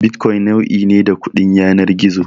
Bitcoin nau'i ne da kudin yanar gizo.